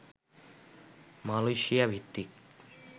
Malaysia ভিত্তিক